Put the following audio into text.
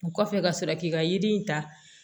O kɔfɛ ka sɔrɔ k'i ka yiri in ta